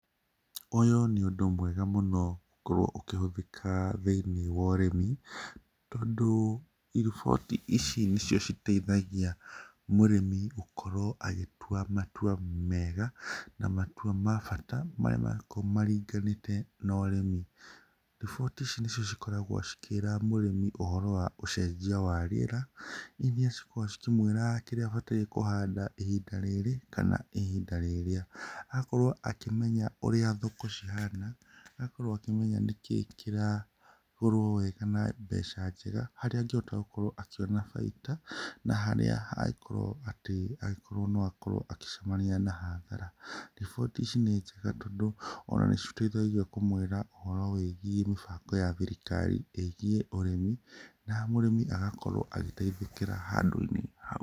Úyú ní úndú mwega múno gúkorúo úkíhúthíka thíiní wa úrími túndú, riboti ici nicio citeithagia múrímí gúkorúo agítua matua mega, na matua ma bata maría mangíkorúo maringaníte na úrími. Riboti ící nícío cíkoragúo cikíra múrími úhoro wa úcenjia wa ríera, iria cikoragúo cikímwíra kíría abataire gúkorúo akíhanda ihiĩnda rírí kana ihinda ríría, akorúo akímenya úría ekúcíhanda akorúo akímenya níkíi kíragúrúo wega na mbeca njega. Haría angíhota gúkorúo akíona baida, na haria angíkorúo atí angíkorúo no akórúo agícemania na hathara. Riboti ící ná njega tondú ona náciteithagia kúmúára úhoro wĩgie mábango ya thirikari igie úrími, na múrími agakorúo agíteithíkíra hau.